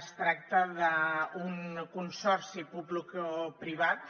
es tracta d’un consorci publicoprivat